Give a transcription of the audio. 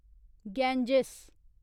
Ganges